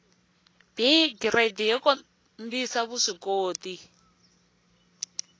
b giridi yo kombisa vuswikoti